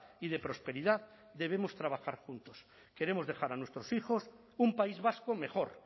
y de prosperidad debemos trabajar juntos queremos dejar a nuestros hijos un país vasco mejor